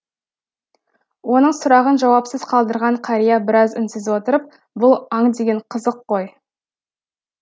оның сұрағын жауапсыз қалдырған қария біраз үнсіз отырып бұл аң деген қызық қой